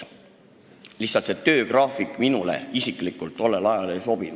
Lihtsalt selline töögraafik minule isiklikult tollel ajal ei sobinud.